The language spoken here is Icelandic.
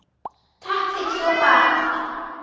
Takk fyrir svo margt.